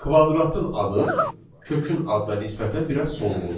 Kvadratın adı kökün adına nisbətən biraz solğundur.